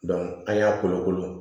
an y'a kolokolo